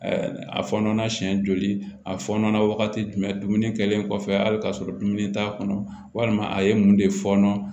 A fɔɔnɔ na siɲɛ joli a fɔɔnɔ na wagati jumɛn dumuni kɛlen kɔfɛ hali ka sɔrɔ dumuni t'a kɔnɔ walima a ye mun de fɔɔnɔ